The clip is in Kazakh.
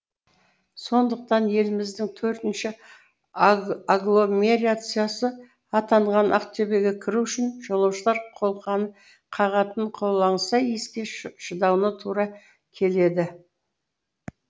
сондықтан еліміздің төртінші агломерациясы атанған ақтөбеге кіру үшін жолаушылар қолқаны қағатын қолаңса иіске шыдауына тура келеді